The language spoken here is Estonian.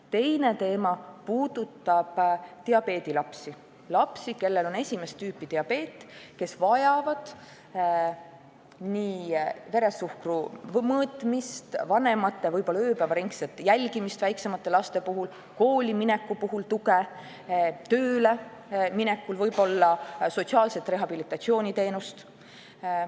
Teine teema puudutab diabeedilapsi, lapsi, kellel on esimest tüüpi diabeet ning kes vajavad nii veresuhkru mõõtmist, vanematepoolset ööpäevaringset jälgimist – väiksemate laste puhul –, koolimineku puhul tuge ja töölemineku puhul võib-olla sotsiaalse rehabilitatsiooni teenust.